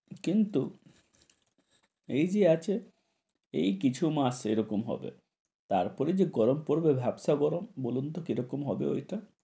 কিন্তু এই যে আছে এই কিছু মাস এরকম হবে, তারপরে যে গরম পরবে ভ্যাপসা গরম। বলুনত কি রকম হবে ওটা?